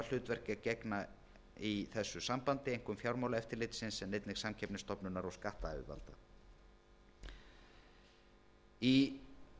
hlutverki að gegna í þessu sambandi einkum fjármálaeftirlitsins en einnig samkeppnisstofnunar og skattyfirvalda í